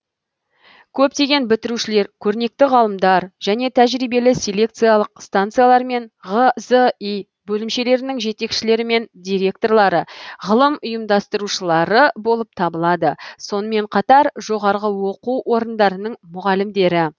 көптеген бітірушілер көрнекті ғалымдар және тәжірибелі селекциялық станциялармен ғзи бөлімшелерінің жетекшілерімен директорлары ғылым ұйымдастырушылары болып табылады сонымен қатар жоғарғы оқу орындарының мұғалімдері